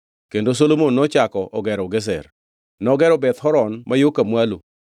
Kendo Solomon nochako ogero Gezer). Nogero Beth Horon ma yo ka mwalo,